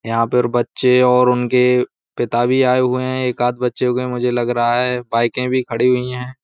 यहाँ पर बच्चे उनके पिता भी आये हुए हैं एक आद बच्चे होंगे मुझे लग रहा है बाइकें भी खड़ी हुई है।